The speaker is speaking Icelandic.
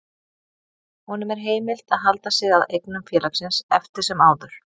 Honum er heimilt að halda sig að eignum félagsins eftir sem áður.